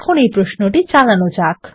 এখন এই প্রশ্নটি চালানো যাক